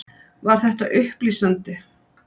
Var þetta upplýsandi?